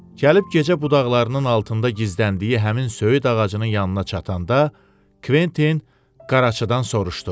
Gəlib gecə budaqlarının altında gizləndiyi həmin söyüd ağacının yanına çatanda, Kventin qaraçıdan soruşdu.